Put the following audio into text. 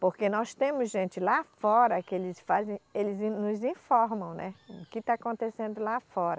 Porque nós temos gente lá fora que eles fazem, eles nos informam, né o que está acontecendo lá fora.